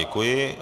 Děkuji.